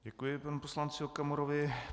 Děkuji panu poslanci Okamurovi.